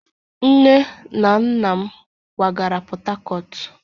Nne na nna m kwagara Portharcourt